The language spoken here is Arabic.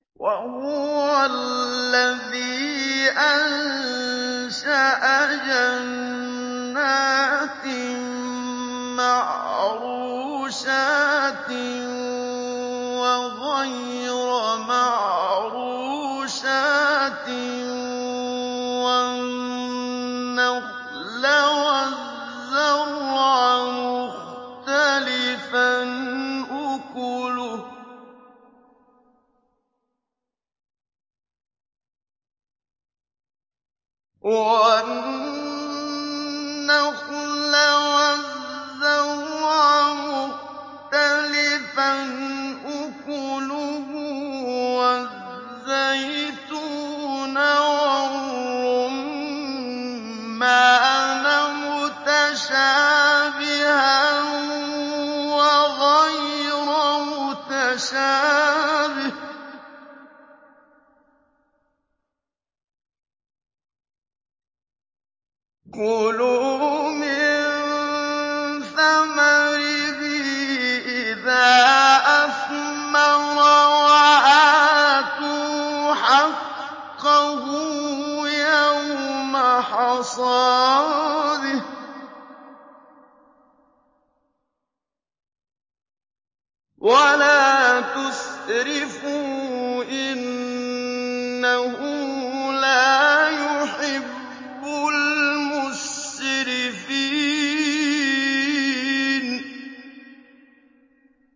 ۞ وَهُوَ الَّذِي أَنشَأَ جَنَّاتٍ مَّعْرُوشَاتٍ وَغَيْرَ مَعْرُوشَاتٍ وَالنَّخْلَ وَالزَّرْعَ مُخْتَلِفًا أُكُلُهُ وَالزَّيْتُونَ وَالرُّمَّانَ مُتَشَابِهًا وَغَيْرَ مُتَشَابِهٍ ۚ كُلُوا مِن ثَمَرِهِ إِذَا أَثْمَرَ وَآتُوا حَقَّهُ يَوْمَ حَصَادِهِ ۖ وَلَا تُسْرِفُوا ۚ إِنَّهُ لَا يُحِبُّ الْمُسْرِفِينَ